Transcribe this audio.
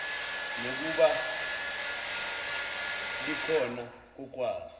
nokuba klhona kokwazi